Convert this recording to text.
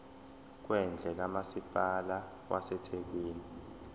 kwendle kamasipala wasethekwini